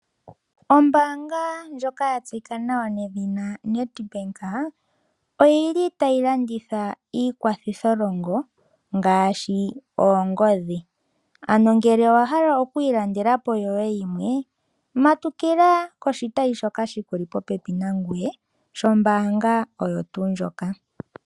Ombaanga ndjoka ya tseyika nawa nedhina Nedbank, oyili tayi landitha iikwathitholongo ngaashi oongodhi. Ano ngele owa hala okwii landala po yoye yimwe, matukila koshitayi shoka shikuli popepi nangoye shombaanga oyo tuu ndjoka.